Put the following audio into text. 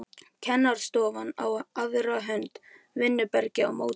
Kennarastofan á aðra hönd, vinnuherbergi á móti.